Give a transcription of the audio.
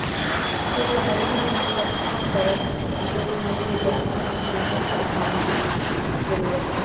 ਉਸ ਸਮੱਗਰੀ ਨੂੰ ਇਕੱਠਾ ਕਰੋ ਜੋ ਤੁਹਾਨੂੰ ਵਿਦਿਆਰਥੀਆਂ ਨੂੰ ਸੰਕਲਪ ਸਿਖਾਉਣ ਦੀ ਜ਼ਰੂਰਤ ਹੈ